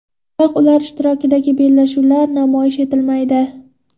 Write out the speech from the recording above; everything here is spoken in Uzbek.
Biroq ular ishtirokidagi bellashuvlar namoyish etilmaydi.